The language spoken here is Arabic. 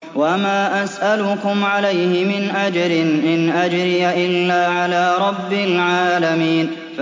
وَمَا أَسْأَلُكُمْ عَلَيْهِ مِنْ أَجْرٍ ۖ إِنْ أَجْرِيَ إِلَّا عَلَىٰ رَبِّ الْعَالَمِينَ